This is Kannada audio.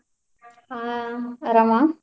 ಹಾ ಆರಾಮಾ?